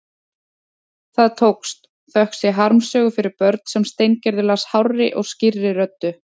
Það tókst, þökk sé harmsögu fyrir börn sem Steingerður las hárri og skýrri röddu.